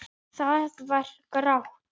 Það var grátt.